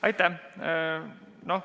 Aitäh!